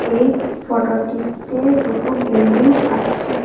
এই ফটোটিতে দুটো বিল্ডিং আছে।